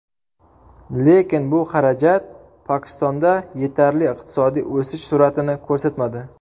Lekin bu xarajat Pokistonda yetarli iqtisodiy o‘sish sur’atini ko‘rsatmadi.